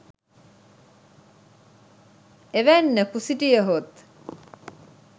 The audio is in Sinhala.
එවැන්නෙකු සිටියහොත්